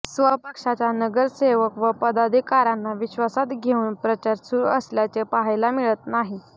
स्वपक्षाच्या नगरसेवक व पदाधिकाऱ्यांना विश्वासात घेऊन प्रचार सुरू असल्याचे पाहायला मिळत नाही